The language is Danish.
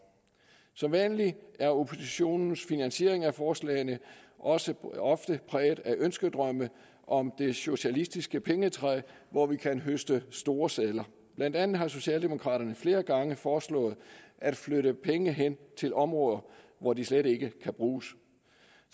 som vanligt er oppositionens finansiering af forslagene også præget af ønskedrømme om det socialistiske pengetræ hvor vi kan høste store sedler blandt andet har socialdemokraterne flere gange foreslået at flytte penge hen til områder hvor de slet ikke kan bruges